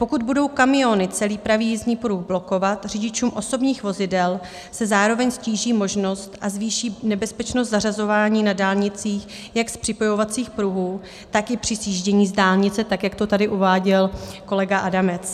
Pokud budou kamiony celý pravý jízdní pruh blokovat, řidičům osobních vozidel se zároveň ztíží možnost a zvýší nebezpečnost zařazování na dálnicích jak z připojovacích pruhů, tak i při sjíždění z dálnice, tak jak to tady uváděl kolega Adamec.